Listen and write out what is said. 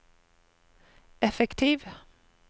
effektiv